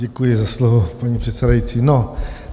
Děkuji za slovo, paní předsedající.